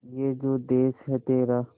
ये जो देस है तेरा